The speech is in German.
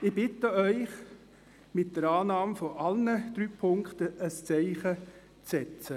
Ich bitte Sie, mit der Annahme von allen drei Punkten ein Zeichen zu setzen.